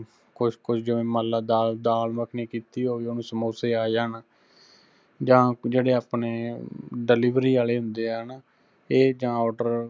ਕੁੱਝਕੁ ਜਿਵੇਂ ਮੰਨ ਲੈ ਦਾਲ ਦਾਲ ਮੱਖਣੀ ਕੀਤੀ ਹੋਵੇ, ਉਹਨੂੰ ਸਮੋਸੇ ਆਜਾਣ, ਜਾਂ ਜਿਹੜੇ ਆਪਣੇ delivery ਆਲੇ ਹੁੰਦੇ ਆ ਨਾ, ਇਹ ਜਾਂ order